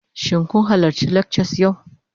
Shin kun halarci lectures yau?